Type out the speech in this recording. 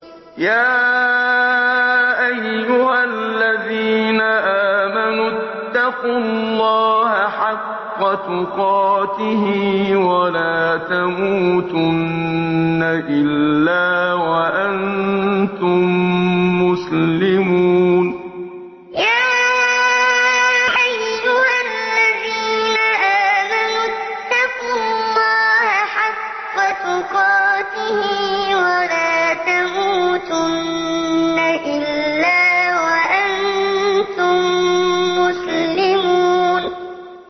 يَا أَيُّهَا الَّذِينَ آمَنُوا اتَّقُوا اللَّهَ حَقَّ تُقَاتِهِ وَلَا تَمُوتُنَّ إِلَّا وَأَنتُم مُّسْلِمُونَ يَا أَيُّهَا الَّذِينَ آمَنُوا اتَّقُوا اللَّهَ حَقَّ تُقَاتِهِ وَلَا تَمُوتُنَّ إِلَّا وَأَنتُم مُّسْلِمُونَ